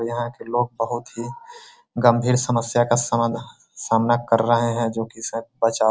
यहां के लोग बहुत ही गंभीर समस्या का समाधान सामना कर रहे है जो की शायद बचाव --